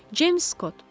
James Scot.